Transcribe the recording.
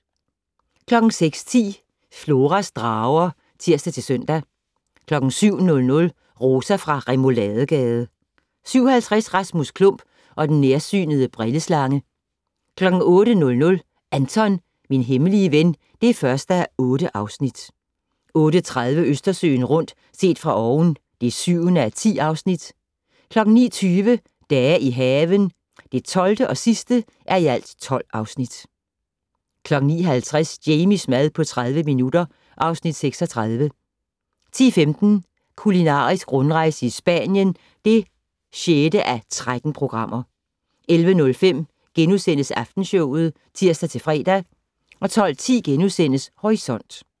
06:10: Floras drager (tir-søn) 07:00: Rosa fra Rouladegade 07:50: Rasmus Klump og den nærsynede brilleslange 08:00: Anton - min hemmelige ven (1:8) 08:30: Østersøen rundt - set fra oven (7:10) 09:20: Dage i haven (12:12) 09:50: Jamies mad på 30 minutter (Afs. 36) 10:15: Kulinarisk rundrejse i Spanien (6:13) 11:05: Aftenshowet *(tir-fre) 12:10: Horisont *